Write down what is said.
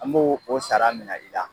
An b'o o sara mina i la